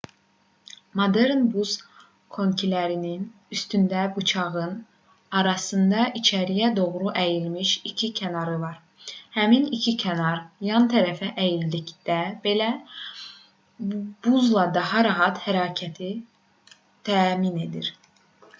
modern buz konkilərinin üstündəki bıçağın arasında içəriyə doğru əyilmiş iki kənarı var həmin iki kənar yan tərəfə əyildikdə belə buzda daha rahat hərəkəti təmin edir